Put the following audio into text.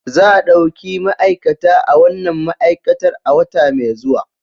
Za a ɗauki ma'aikata a wannan ma'aikatar a wata mai zuwa